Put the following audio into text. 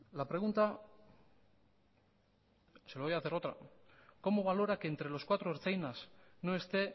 la pregunta le voy a hacer otra cómo valora que entre los cuatro ertzainas no esté